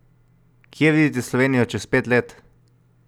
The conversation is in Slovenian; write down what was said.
Kje vidite Slovenijo čez pet let?